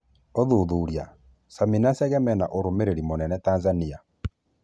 ũthuthuria: Sami na Chege mena ũrũmĩrĩri mũnene Tanzania.